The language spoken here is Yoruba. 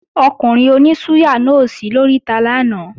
Ọkùnrin oní súyà náà ò sí lóríta lánàá